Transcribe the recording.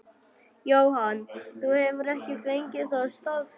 Jóhann: Þú hefur ekki fengið það staðfest?